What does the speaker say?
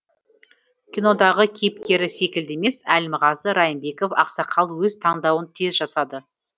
кинодағы кейіпкері секілді емес әлімғазы райымбеков ақсақал өз таңдауын тез жасады